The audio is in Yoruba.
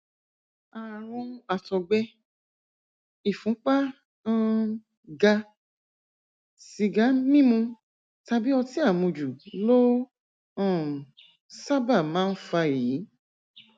ààrùn àtọgbẹ ìfúnpá um ga sìgá mímu tàbí ọtí àmujù ló um sábà máa ń fa èyí